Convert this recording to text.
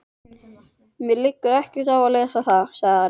Mér liggur ekkert á að lesa það, sagði Ari.